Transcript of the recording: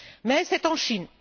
Mais c'est en Chine.